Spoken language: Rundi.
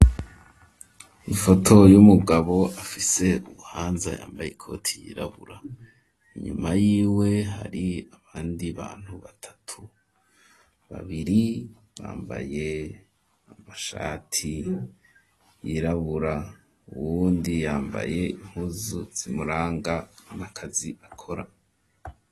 Ifoto y'umugabo afise ubuhanza yambaye ikoti yirabura inyuma yiwe hari abandi bantu batatu babiri bambaye amashati yirabura uwundi yambaye impuzu zimuranga n'akazi akora.